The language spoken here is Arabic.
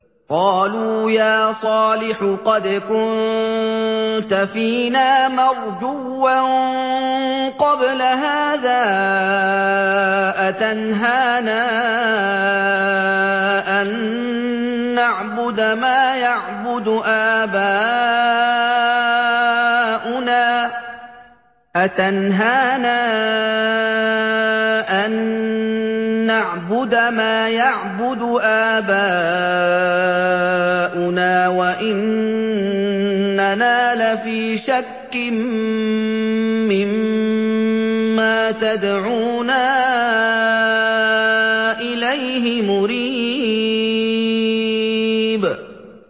قَالُوا يَا صَالِحُ قَدْ كُنتَ فِينَا مَرْجُوًّا قَبْلَ هَٰذَا ۖ أَتَنْهَانَا أَن نَّعْبُدَ مَا يَعْبُدُ آبَاؤُنَا وَإِنَّنَا لَفِي شَكٍّ مِّمَّا تَدْعُونَا إِلَيْهِ مُرِيبٍ